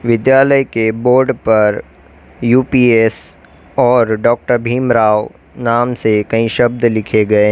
विद्यालय के बोर्ड पर यू_पी_एस और डॉ भीमराव नाम से कई शब्द लिखे गए --